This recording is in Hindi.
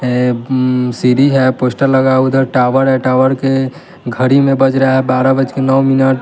अं सीढ़ी है पोस्टर लगा है उधर टावर है टावर के घड़ी में बज रहा है बारह बज के नौ मिनट ।